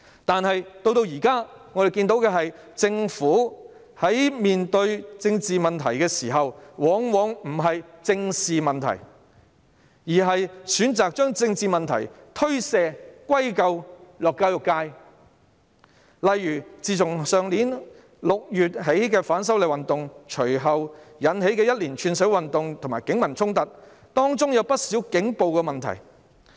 但是，至今我們看到，在面對政治問題時，政府往往不正視問題，反而選擇把政治問題推卸及歸咎於教育界，例如自去年6月起，反修例運動引起一連串社會運動和警民衝突，當中有不少警暴問題。